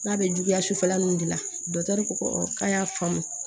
N'a bɛ juguya sufɛla ninnu de la ko k'an y'a faamu